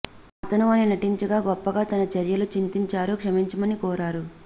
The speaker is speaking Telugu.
అతను అని నటించగా గొప్పగా తన చర్యలు చింతించారు క్షమించమని కోరారు